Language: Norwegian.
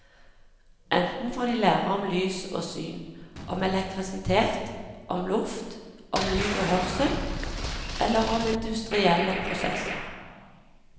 Enten får de lære om lys og syn, om elektrisitet, om luft, om lyd og hørsel, eller om industrielle prosesser.